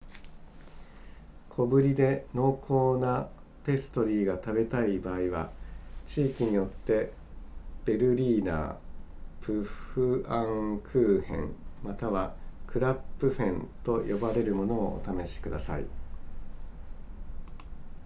小ぶりで濃厚なペストリーが食べたい場合は地域によってベルリーナープフアンクーヘンまたはクラップフェンと呼ばれるものをお試しください